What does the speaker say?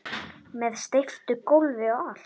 Með steyptu gólfi og allt